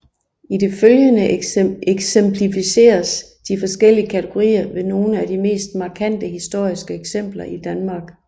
I det følgende eksemplificeres de forskellige kategorier ved nogle af de mest markante historiske eksempler i Danmark